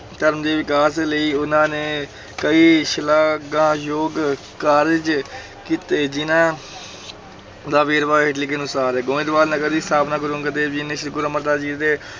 ਧਰਮ ਦੇ ਵਿਕਾਸ ਲਈ ਉਹਨਾਂ ਨੇ ਕਈ ਸ਼ਲਾਘਾਯੋਗ ਕਾਰਜ ਕੀਤੇ, ਜਿਨ੍ਹਾਂ ਦਾ ਵੇਰਵਾ ਹੇਠ ਲਿਖੇ ਅਨੁਸਾਰ ਹੈ, ਗੋਇੰਦਵਾਲ ਨਗਰ ਦੀ ਸਥਾਪਨਾ ਗੁਰੂ ਅੰਗਦ ਦੇਵ ਜੀ ਨੇ ਸ੍ਰੀ ਗੁਰੂ ਅਮਰਦਾਸ ਜੀ ਦੀ